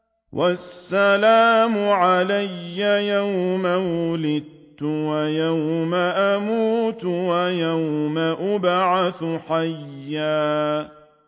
وَالسَّلَامُ عَلَيَّ يَوْمَ وُلِدتُّ وَيَوْمَ أَمُوتُ وَيَوْمَ أُبْعَثُ حَيًّا